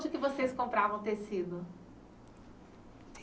que vocês compravam tecido?